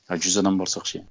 а жүз адам барсақ ше